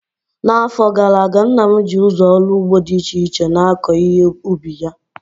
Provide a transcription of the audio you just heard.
N'afọ gara aga, nna m ji ụzọ ọrụ ugbo dị iche iche na-akọ ihe ubi ya